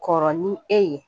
Kɔrɔ ni e ye